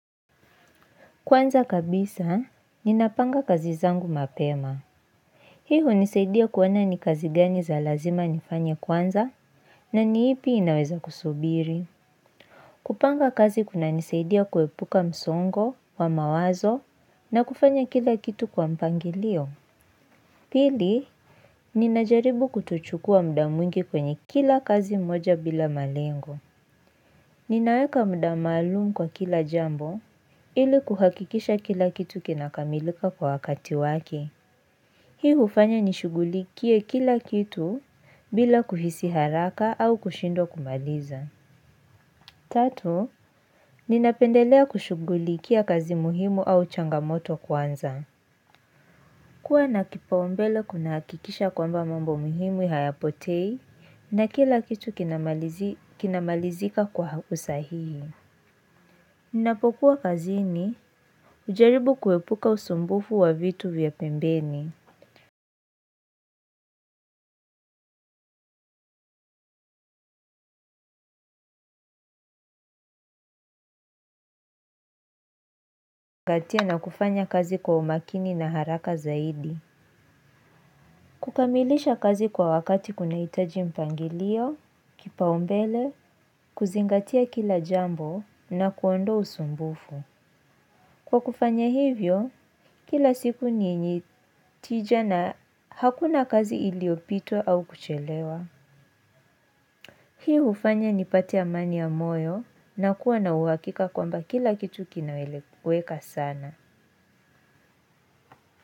Kwanza kabisa, ninapanga kazi zangu mapema. Hii hunisaidia kuona ni kazi gani za lazima nifanye kwanza, na ni ipi inaweza kusubiri. Kupanga kazi kuna nisaidia kuepuka msongo wa mawazo na kufanya kila kitu kwa mpangilio. Pili, ninajaribu kutochukua mda mwingi kwenye kila kazi moja bila malengo. Ninaweka muda maalumu kwa kila jambo ili kuhakikisha kila kitu kinakamilika kwa wakati wake. Hii ufanya nishugulikie kila kitu bila kuhisi haraka au kushindwa kumaliza. Tatu, ninapendelea kushugulikia kazi muhimu au changamoto kwanza. Kua na kipaumbele kuna hakikisha kwamba mambo muhimu hayapotei na kila kitu kinamalizika kwa usahihi. Ninapokua kazini hujaribu kuepuka usumbufu wa vitu vya pembeni. Kukatia na kufanya kazi kwa umakini na haraka zaidi. Kukamilisha kazi kwa wakati kunahitaji mpangilio, kipaumbele, kuzingatia kila jambo na kuondoa usumbufu kwa kufanya hivyo, kila siku ni tija na hakuna kazi iliopitwa au kuchelewa. Hii ufanya nipate amani ya moyo na kuwa na uwakika kwamba kila kitu kinawelekuweka sana.